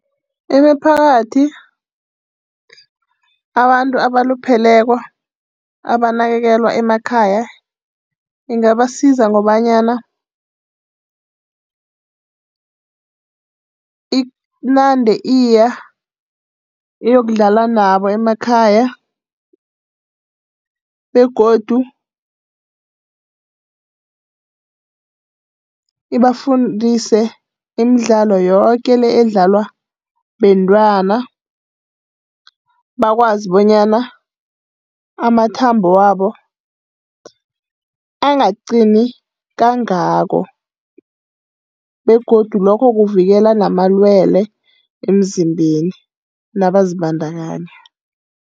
Imiphakathi, abantu abalupheleko abanakekelwa emakhaya ingabasiza ngobanyana inande iya iyokudlala nabo emakhaya. Begodu ibafundise imidlalo yoke le edlalwa bentwana, bakwazi bonyana amathambo wabo angaqini kangako. Begodu lokho kuvikela namalwele emzimbeni nabazibandakanya.